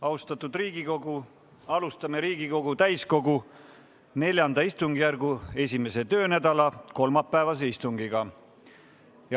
Austatud Riigikogu, alustame Riigikogu täiskogu IV istungjärgu 1. töönädala kolmapäevast istungit.